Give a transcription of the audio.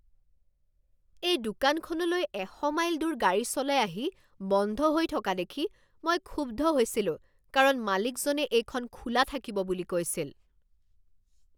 এই দোকানখনলৈ এশ মাইল দূৰ গাড়ী চলাই আহি বন্ধ হৈ থকা দেখি মই ক্ষুব্ধ হৈছিলো কাৰণ মালিকজনে এইখন খোলা থাকিব বুলি কৈছিল।